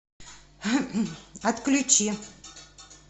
отключи